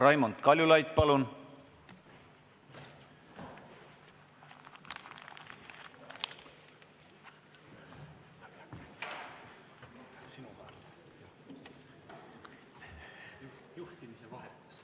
Raimond Kaljulaid, palun!